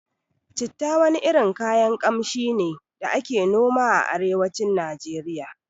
Citta wani irin kayan Ƙamshi ne da ake noma a arewacin Nijeriya